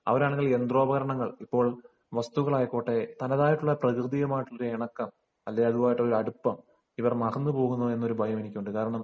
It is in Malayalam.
അവരാണെങ്കിൽ യന്ത്രോപകരണങ്ങൾ ഇപ്പോൾ വസ്തുക്കളായിക്കോട്ടെ തന്നതായിട്ടുള്ള പ്രകൃതിയുമായിട്ടുള്ള ഇണക്കം അതുമായിട്ടുള്ള അടുപ്പം ഇവർ മറന്നു പോകുന്നു എന്ന ഭയം എനിക്കുണ്ട്